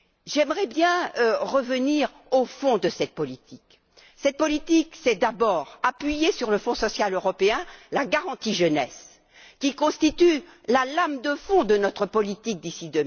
J'aimerais revenir sur le fond de cette politique. Cette politique, c'est d'abord appuyer sur le Fonds social européen la garantie jeunesse, qui constitue la lame de fond de notre politique d'ici